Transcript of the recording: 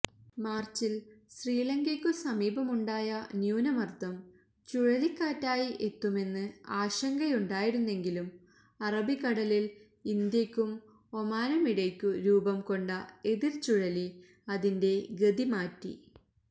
മാർച്ചിൽ ശ്രീലങ്കയ്ക്കു സമീപമുണ്ടായ ന്യൂനർദം ചുഴലിക്കാറ്റായി എത്തുമെന്ന് ആശങ്കയുണ്ടായിരുന്നെങ്കിലും അറബിക്കടലിൽ ഇന്ത്യയ്ക്കും ഒമാനുമിടയ്ക്കു രൂപംകൊണ്ട എതിർചുഴലി അതിന്റെ ഗതിമാറ്റി